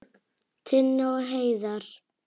Tinna og Heiðar.